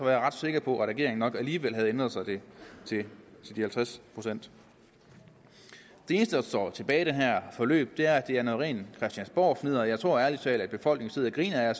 jeg ret sikker på at regeringen nok alligevel havde ændret det til de halvtreds procent det eneste der står tilbage i det her forløb er at det er noget rent christiansborgfnidder og jeg tror ærlig talt at befolkningen sidder og griner af